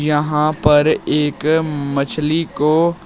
यहां पर एक मछली को--